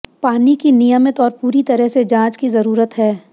पानी की नियमित और पूरी तरह से जांच की जरूरत है